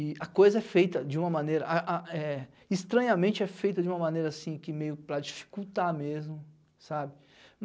E a coisa é feita de uma maneira a a é... Estranhamente é feita de uma maneira assim que meio para dificultar mesmo, sabe?